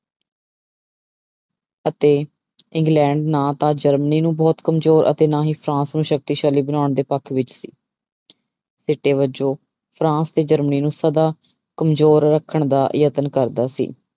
ਅਤੇ ਇੰਗਲੈਂਡ ਨਾ ਤਾਂ ਜਰਮਨੀ ਨੂੰ ਬਹੁਤ ਕੰਮਜ਼ੋਰ ਅਤੇ ਨਾ ਹੀ ਫਰਾਂਸ ਨੂੰ ਸ਼ਕਤੀਸ਼ਾਲੀ ਬਣਾਉਣ ਦੇ ਪੱਖ ਵਿੱਚ ਸੀ ਸਿੱਟੇ ਵਜੋਂ ਫਰਾਂਸ ਤੇ ਜਰਮਨੀ ਨੂੰ ਸਦਾ ਕੰਮਜ਼ੋਰ ਰੱਖਣ ਦਾ ਯਤਨ ਕਰਦਾ ਸੀ।